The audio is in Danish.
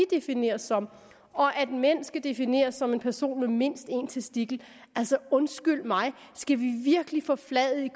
defineres som og at en mand skal defineres som en person med mindst en testikel altså undskyld mig skal vi virkelig forfladige